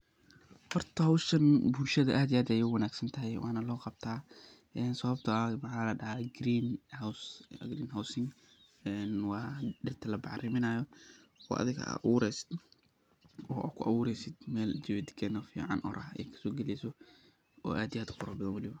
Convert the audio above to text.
Hoorta hooshan bulshada aad iyo aad ugu wanagsantahay Wana lo Qabtah ini sawabta ee mxadacay Green house ee wa inti oo adiga oo ku abuureeysah mesha natija fican oo meel kasogaleysoh.